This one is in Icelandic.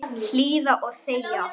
Hlýða og þegja.